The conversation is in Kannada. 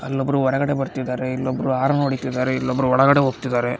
ಅಲ್ಲೊಬ್ರು ಹೊರಗಡೆ ಬರ್ತಾ ಇದ್ದಾರೆ ಇಲ್ಲೊಬ್ಬರು ಹಾರ್ನ್ ಹೊಡೀತಿದಾರೆ ಇಲ್ಲೊಬ್ಬರು ಒಳಗಡೆ ಹೋಗ್ತಿದಾರೆ.